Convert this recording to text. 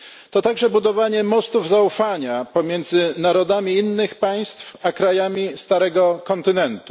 To także budowanie mostów zaufania pomiędzy narodami innych państw a krajami starego kontynentu.